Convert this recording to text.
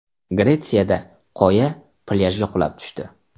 Gretsiyada qoya plyajga qulab tushdi.